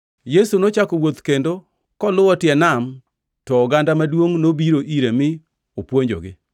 Yesu nochako wuoth kendo koluwo tie Nam to oganda maduongʼ nobiro ire mi opuonjogi.